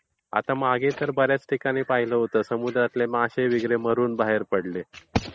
आता मागे तर बर् याच ठिकाणी पाहिलं होतं समुद्रातील मासे वगैरे मरून बाहेर पडले.